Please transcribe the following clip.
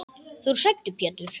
Þú ert hræddur Pétur.